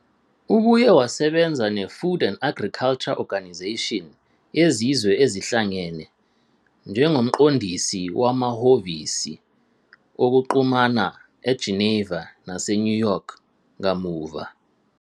Ubuye wasebenza neFood and Agriculture Organisation yeZizwe Ezihlangene, njengomqondisi wamahhovisi okuxhumana eGeneva naseNew York kamuva.